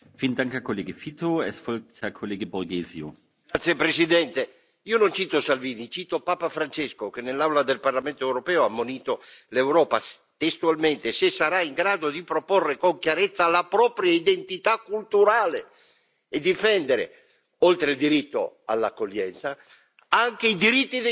Signor Presidente, onorevoli colleghi, io non cito Salvini, cito Papa Francesco che, nell'Aula del Parlamento europeo, ha ammonito l'Europa, affermando testualmente se sarà in grado di proporre con chiarezza la propria identità culturale e difendere, oltre al diritto all'accoglienza, anche i diritti dei cittadini, aiutando questi popoli nel loro paese.